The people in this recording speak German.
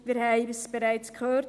Wir haben es bereits gehört: